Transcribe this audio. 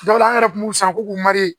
Dɔw an yɛrɛ kun b'u san k'u k'u